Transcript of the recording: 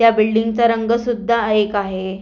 या बिल्डिंग चा रंग सुद्धा एक आहे.